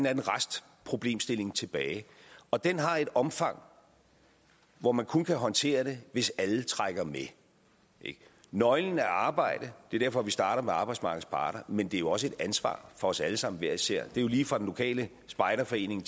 anden restproblemstilling tilbage og den har et omfang hvor man kun kan håndtere det hvis alle trækker med nøglen er arbejde det er derfor vi starter med arbejdsmarkedets parter men det er jo også et ansvar for os alle sammen hver især lige fra den lokale spejderforening